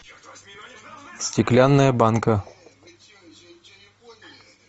стеклянная банка